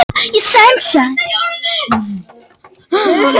Tvennt veldur því að vindur er að meðaltali meiri að degi en nóttu.